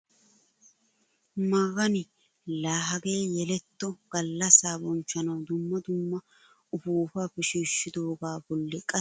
Magani la hagee yeletto gallaasa banchchanawu dumma dumma upuupata shiishidoogaa bolli qassi sintta baggaara bootta maayuwaa bolli xafettidagee haashshu yelettadasa yagiyaagee lo"ees!